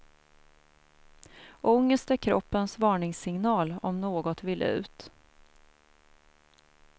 Ångest är kroppens varningssignal om något vill ut.